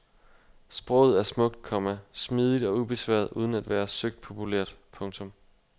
Sproget er smukt, komma smidigt og ubesværet uden at være søgt populært. punktum